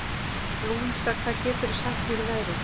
Louisa, hvað geturðu sagt mér um veðrið?